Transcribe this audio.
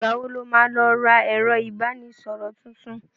Ìgbà wo lo má lọ ra ẹ̀rọ ìbánísọ̀rọ̀ tuntun?